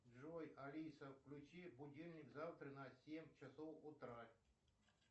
джой алиса включи будильник завтра на семь часов утра